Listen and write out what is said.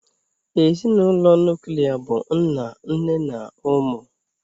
Ezinụlọ nuklia bụ nna nne na ụmụ.